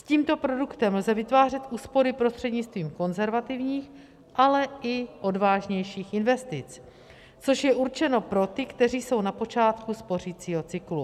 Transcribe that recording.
S tímto produktem lze vytvářet úspory prostřednictvím konzervativních, ale i odvážnějších investic, což je určeno pro ty, kteří jsou na počátku spořicího cyklu.